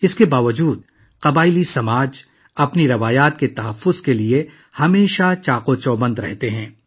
اس کے باوجود قبائلی معاشرے اپنی روایات کو برقرار رکھنے کے لیے ہمہ وقت تیار ہیں